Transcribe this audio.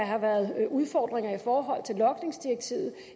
har været udfordringer i forhold til logningsdirektivet